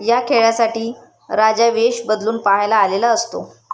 या खेळासाठी राजा वेष बदलून पहायला आलेला असतो.